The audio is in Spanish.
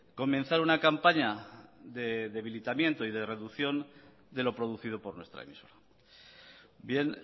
comenzar una campaña de debilitamiento y de reducción de lo producido por nuestra emisora bien